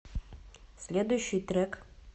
следующий трек